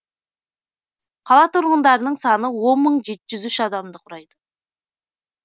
қала тұрғындарының саны он мың жеті жүз үш адамды құрайды